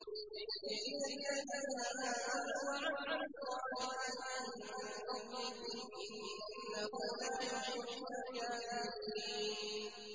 لِيَجْزِيَ الَّذِينَ آمَنُوا وَعَمِلُوا الصَّالِحَاتِ مِن فَضْلِهِ ۚ إِنَّهُ لَا يُحِبُّ الْكَافِرِينَ